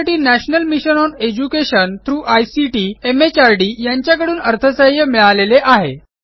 यासाठी national mission on education through ICT MHRD यांच्याकडून अर्थसहाय्य मिळालेले आहे